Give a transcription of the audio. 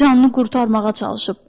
Canını qurtarmağa çalışıb.